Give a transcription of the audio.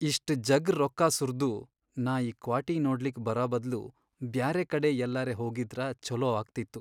ಇಷ್ಟ್ ಜಗ್ ರೊಕ್ಕಾ ಸುರ್ದು ನಾ ಈ ಕ್ವಾಟಿ ನೋಡ್ಲಿಕ್ ಬರಬದ್ಲು ಬ್ಯಾರೆಕಡೆ ಯಲ್ಲರೆ ಹೋಗಿದ್ರ ಛೊಲೋ ಆಗ್ತಿತ್ತು.